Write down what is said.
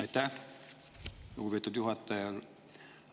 Aitäh, lugupeetud juhataja!